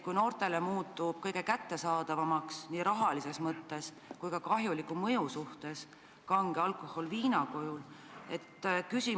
Kui noortele muutub rahalises mõttes kõige kättesaadavamaks kange alkohol viina kujul, siis on alkoholi kahjulik mõju väga suur.